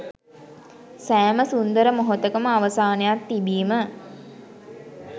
සෑම සුන්දර මොහොතකම අවසානයක් තිබීම